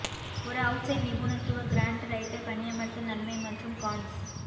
ஒரு அவுட்ஸைட் நிபுணத்துவ grant writer பணியமர்த்தல் நன்மை மற்றும் கான்ஸ்